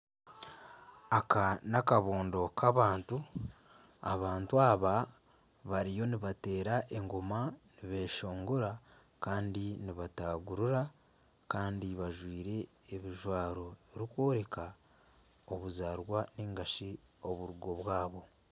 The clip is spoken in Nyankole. Aka nakabondo kabantu abantu aba bariyo nibateera engoma nibeshongora kandi nibatagurira kandi bajwaire ebijwaro birikworeka obuzaarwa ningashi oburungo bwabo.